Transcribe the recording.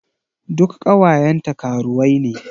Duk ƙawayenta karuwai ne.